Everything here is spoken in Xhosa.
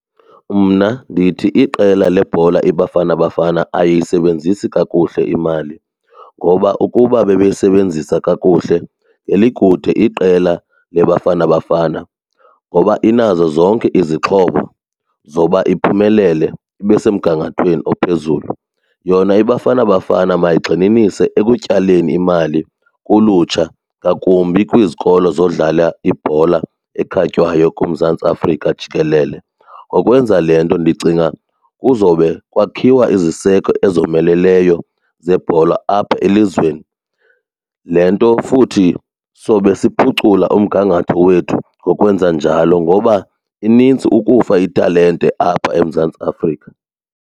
Mna ndithi iqela lebhola iBafana Bafana ayisebenzisi kakuhle imali ngoba ukuba bebeyisebenzisa kakuhle ngelikude iqela leBafana Bafana ngoba inazo zonke izixhobo zoba iphumelele ibe semgangathweni ophezulu. Yona iBafana Bafana mayigxininise ekutyaleni imali kulutsha ngakumbi kwizikolo zokudlala ibhola ekhatywayo kuMzantsi Afrika jikelele. Ngokwenza le nto ndicinga kuzowube kwakhiwa iziseko ezomeleleyo zebhola apha elizweni. Le nto futhi sobe siphucula umgangatho wethu ngokwenza njalo ngoba inintsi ukufa italente apha eMzantsi Afrika.